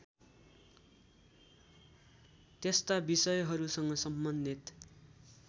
त्यस्ता विषयहरूसँग सम्बन्धित